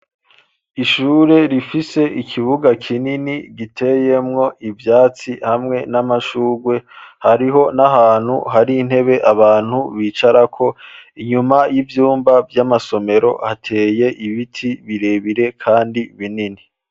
Ishure rifise ikibuga kinini giteyemwo ivyatsi hamwe n'amashurwe hariho n'ahantu hari intebe abantu bicarako. Inyuma y'ivyumba vy'amasomero hateye ibiti birebire kandi binini.